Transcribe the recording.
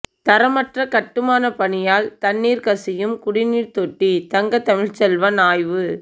தரமற்ற கட்டுமானப் பணியால் தண்ணீர் கசியும் குடிநீர் தொட்டி தங்கதமிழ்ச்செல்வன் ஆய்வு